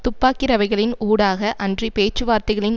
துப்பாக்கி ரவைகளின் ஊடாக அன்றி பேச்சுவார்த்தைகளின்